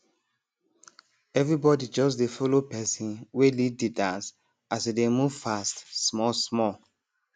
everybody just dey follow person wey lead de dance as e dey move fast small small